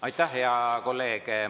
Aitäh, hea kolleeg!